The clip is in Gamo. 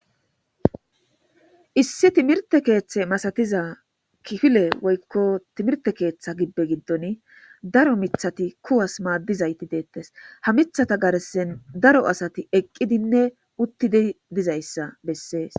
issi timirte keeththe masatiza kifile woykko timirte keeththa gibbe giddon daro mithati kuwas maaddizayti deettes ha mithata garsen daro asati eqqidinne uttidi dizayssa bessees